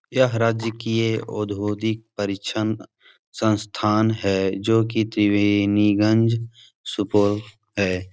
यह राजकीय औधोगिक परीक्षण संस्थान है जो कि त्रिवेणीगंज सुपौल है।